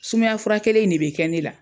Sumaya fura kelen in de be kɛ ne la.